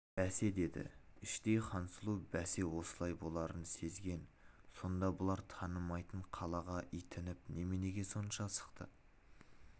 бәсе деді іштей хансұлу бәсе осылай боларын сезген сонда бұлар танымайтын қалаға итініп неменеге сонша асықты